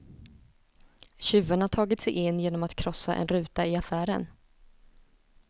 Tjuvarna har tagit sig in genom att krossa en ruta i affären.